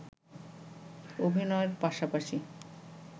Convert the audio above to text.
অভিনয়ের পাশাপাশি